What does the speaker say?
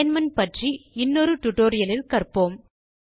alignment பற்றி இன்னொரு tutorial இல் கற்போம்